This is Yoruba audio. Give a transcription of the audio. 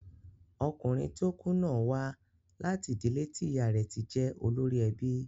Ọkùnrin tí ó kú náà wá láti ìdílé tí ìyá ti jẹ́ olórí ẹbí.